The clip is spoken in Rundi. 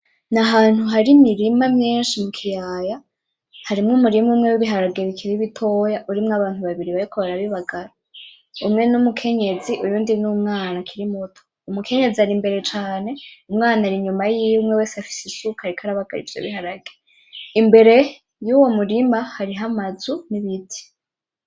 Ni ahantu hari imirima myinshi mu kiyaya harimwo umurima umwe w'ibiharage bikiri bitoya urimwo abantu babiri bariko barabibagara, umwe n'umukenyezi uyundi n'umwana akiri muto, umukenyezi ari imbere cane umwana ari inyuma yiwe umwe wese afise isuka ariko arabagara ivyo biharage imbere yuwo murima hariho amazu n'ibiti.